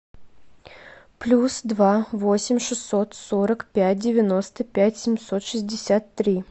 плюс два восемь шестьсот сорок пять девяносто пять семьсот шестьдесят три